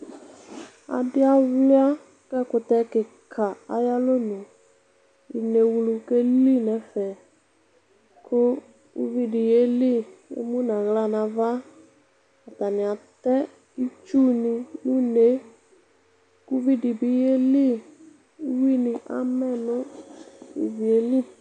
adi aluia k'ɛkutɛ keka ayi alɔnu inewlu ke li n'ɛfɛ kò uvi di ye li k'emu n'ala n'ava atani atɛ itsu ni n'une uvi di bi ye li uwi ni amɛ no ivie li.